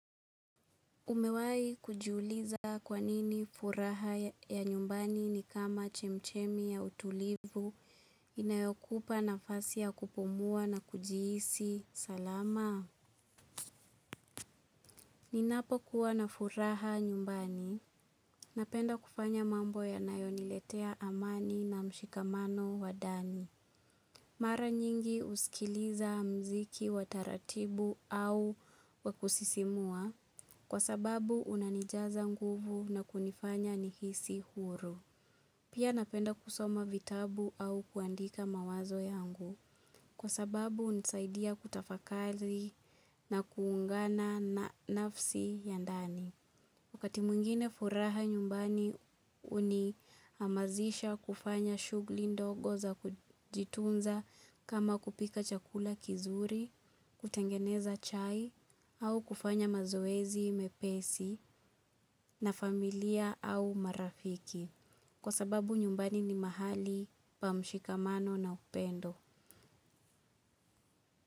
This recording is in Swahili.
Umewahi kujiuliza kwa nini furaha ya nyumbani ni kama chemchemi ya utulivu inayokupa nafasi ya kupumua na kujihisi salama? Ninapokuwa na furaha nyumbani, napenda kufanya mambo yanayoniletea amani na mshikamano wa ndani. Mara nyingi husikiliza muziki wa taratibu au wa kusisimua, kwa sababu unanijaza nguvu na kunifanya nihisi huru. Pia napenda kusoma vitabu au kuandika mawazo yangu kwa sababu hunisaidia kutafakari na kuungana na nafsi yangu ya ndani. Wakati mwingine furaha nyumbani uninihamasisha kufanya shughuli ndogo za kujitunza, kama kupika chakula kizuri, kutengeneza chai au kufanya mazoezi mepesi na familia au marafiki. Kwa sababu nyumbani ni mahali pa mshikamano na upendo.